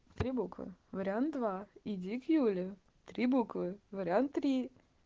три буквы вариант два иди к юле три буквы вариант три